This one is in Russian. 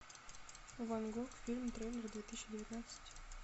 ван гог фильм трейлер две тысячи девятнадцать